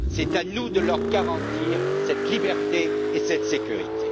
C'est à nous de leur garantir cette liberté et cette sécurité.